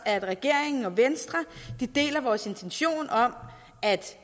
at regeringen og venstre deler vores intention om at